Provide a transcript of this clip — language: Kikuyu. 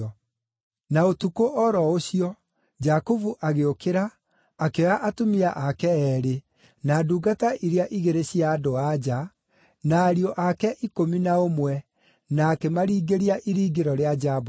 Na ũtukũ o ro ũcio, Jakubu agĩũkĩra, akĩoya atumia ake eerĩ, na ndungata iria igĩrĩ cia andũ-a-nja, na ariũ ake ikũmi na ũmwe, na akĩmaringĩria iringĩro rĩa Jaboku.